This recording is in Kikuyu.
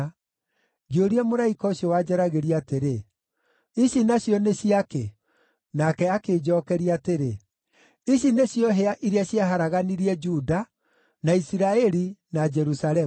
Ngĩũria mũraika ũcio wanjaragĩria atĩrĩ, “Ici nacio nĩ cia kĩ?” Nake akĩnjookeria atĩrĩ, “Ici nĩcio hĩa iria ciaharaganirie Juda, na Isiraeli, na Jerusalemu.”